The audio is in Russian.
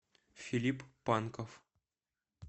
филипп панков